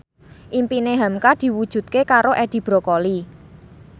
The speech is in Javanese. impine hamka diwujudke karo Edi Brokoli